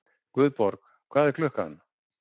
Guðborg, hvað er klukkan?